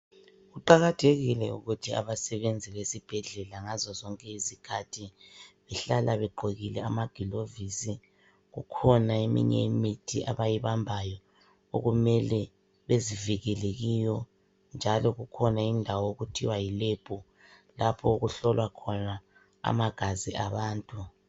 Kuqakathekile ukuthi abasebenzi bezibhedlela ngazozonke izikhathi behlala begqokile amaglovisi, kukhona eminye imithi abayibambayo okumele bezivikele kiyo njalo kukhona indawo okuthiwa yilebhu lapho okuhlolwa khona amagazi abantu.